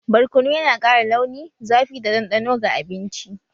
Barkono yana ƙara launi, zafi da ɗanɗano ga abinci